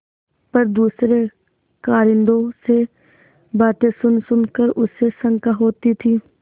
पर दूसरे कारिंदों से बातें सुनसुन कर उसे शंका होती थी